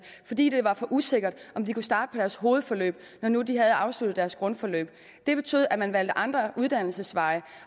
fordi det var for usikkert om de kunne starte på deres hovedforløb når nu de havde afsluttet deres grundforløb det betød at man valgte andre uddannelsesveje